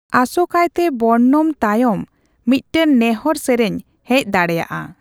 ᱟᱥᱚᱠᱟᱭᱛᱮ ᱵᱚᱨᱱᱚᱢ ᱛᱟᱭᱚᱢ ᱢᱤᱫᱴᱟᱝ ᱱᱮᱸᱦᱚᱨ ᱥᱮᱨᱮᱧ ᱦᱮᱪ ᱫᱟᱲᱮᱭᱟᱜᱼᱟ ᱾